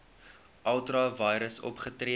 ultra vires opgetree